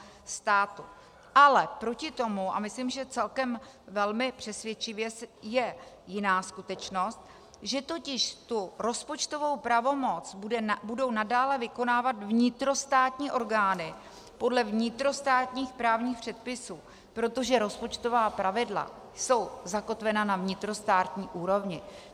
Ale proti tomu, a myslím, že celkem velmi přesvědčivě, je jiná skutečnost, že totiž tu rozpočtovou pravomoc budou nadále vykonávat vnitrostátní orgány podle vnitrostátních právních předpisů, protože rozpočtová pravidla jsou zakotvena na vnitrostátní úrovni.